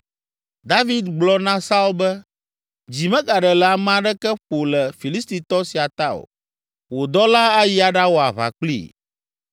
David gblɔ na Saul be, “Dzi megaɖe le ame aɖeke ƒo le Filistitɔ sia ta o. Wò dɔla ayi aɖawɔ aʋa kplii.”